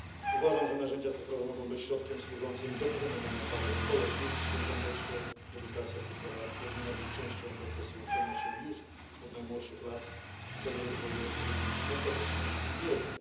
Uważam, że narzędzia cyfrowe mogą być środkiem służącym pokonywaniu barier społecznych i w tym kontekście edukacja cyfrowa powinna być częścią procesu uczenia się już od najmłodszych lat w celu rozwoju odpowiednich kompetencji i wiedzy.